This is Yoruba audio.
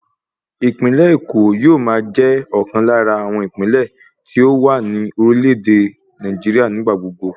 Ìpínlẹ̀ Èkó yóò máa jẹ́ ọ̀kan lára àwọn ìpínlẹ̀ tí ó wà ní orílẹ̀ èdè Nàìjíríà nígbà gbogbo